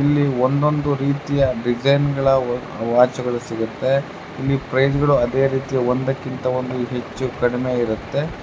ಇಲ್ಲಿ ಒಂದ್ ಒಂದ್ ರೀತಿಯ ಡಿಸೈನ್ಗ ಳ ವಾಚ್ಗ ಳು ಸಿಗುತ್ತವೆ ಮತ್ತೆ ಪ್ರೈಸ್ಗಳು ಒಂದಕ್ಕಿಂತ ಹೆಚ್ಚು ಕಡಿಮೆ ಇರುತ್ತೆ.